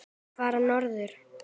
Og fara norður.